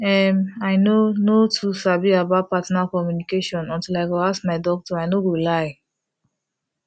em i no no too sabi about partner communication until i go ask my doctor i no go lie